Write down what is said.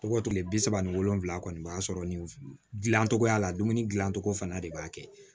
Tɔgɔ kile bi saba ni wolonfila kɔni ma sɔrɔ nin gilan togoya la dumuni gilan cogo fana de b'a kɛ